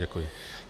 Děkuji.